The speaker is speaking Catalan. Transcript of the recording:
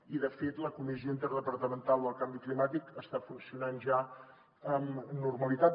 i de fet la comissió interdepartamental del canvi climàtic està funcionant ja amb normalitat